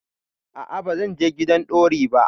A'a, ba zan je gidan bori ba.